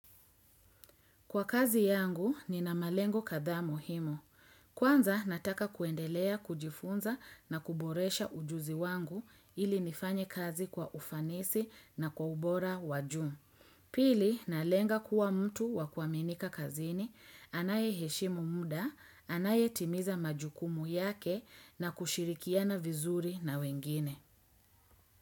Kwa kazi yangu, nina malengo kadhaa muhimu. Kwanza nataka kuendelea kujifunza na kuboresha ujuzi wangu ili nifanye kazi kwa ufanisi na kwa ubora wa juu. Pili, nalenga kuwa mtu wakuaminika kazini, anaye heshimu muda, anaye timiza majukumu yake na kushirikiana vizuri na wengine.